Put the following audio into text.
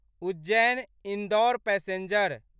Ujjain Indore passenger